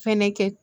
Fɛnɛ kɛ